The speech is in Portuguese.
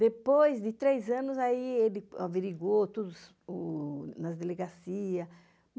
Depois de três anos, ele averigou tudo nas delegacias.